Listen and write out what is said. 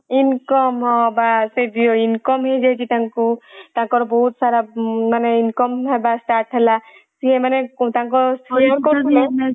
income ବାସ income ହେଇଯାଇଚି ତାଙ୍କୁ ତାଙ୍କର ବହୁତ ସାରା ମାନେ income ହେବ start ହେଲା ସିଏ ମାନେ ତାଙ୍କ